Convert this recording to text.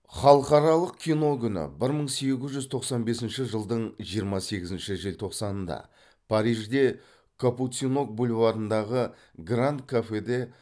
халықаралық кино күні бір мың сегіз жүз тоқсан бесінші жылдың жиырма сегізінші желтоқсанында парижде капуцинок бульварындағы гранд кафеде